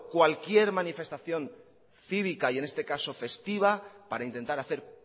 cualquier manifestación cívica y en este caso festiva para intentar hacer